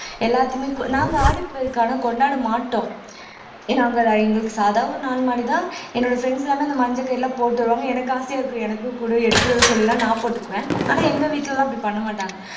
எல்லாத்தையுமே நாங்க ஆடி பெருக்கு ஆனா கொண்டாட மாட்டோம் நாங்க எங்களுக்கு சாதா ஒரு நாலு மாறிதான் என்னோட friends எல்லாமே இந்த மஞ்ச கயிறு எல்லாம் போட்டு வருவாங்க எனக்கு ஆசையா இருக்கு எனக்கு குடு எடுத்துட்டு வர சொல்லி எல்லாம் நான் போட்டுக்குவேன் ஆனா எங்க வீட்டுல எல்லாம் அப்படி பண்ண மாட்டாங்க